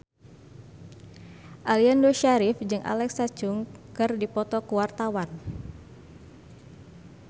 Aliando Syarif jeung Alexa Chung keur dipoto ku wartawan